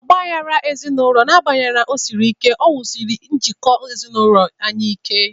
Ọgba aghara ezinụlọ, n'agbanyeghi na o siri ike, wusiri njikọ ezinụlọ anyị ike.